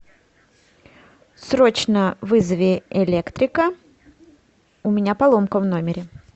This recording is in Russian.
срочно вызови электрика у меня поломка в номере